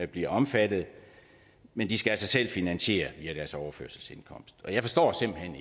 bliver omfattet men de skal altså selv finansiere via deres overførselsindkomst jeg forstår simpelt hen